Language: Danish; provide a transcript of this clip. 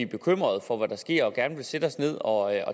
bekymrede for hvad der sker og gerne vil sætte os ned og